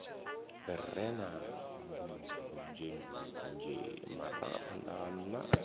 re na ndunzhendunzhe marangaphanḓa na